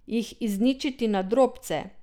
Jih izničiti na drobce?